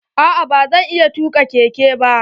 A'a ba zan iya tuka keke ba.